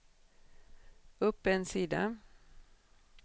upp en sida